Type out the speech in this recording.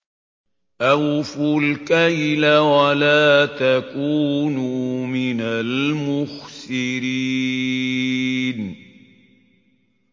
۞ أَوْفُوا الْكَيْلَ وَلَا تَكُونُوا مِنَ الْمُخْسِرِينَ